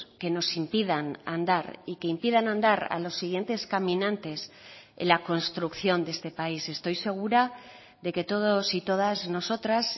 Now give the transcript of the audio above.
que nos impidan andar y que impidan andar a los siguientes caminantes en la construcción de este país estoy segura de que todos y todas nosotras